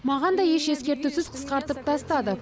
маған да еш ескертусіз қысқартып тастады